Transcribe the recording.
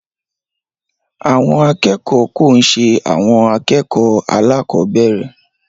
Àwọn akẹ́kọ̀ọ́ ko n ṣe àwọn akẹ́kọ̀ọ́ alakobere.